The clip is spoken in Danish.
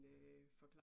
Ja